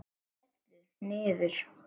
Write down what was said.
Skellur niður.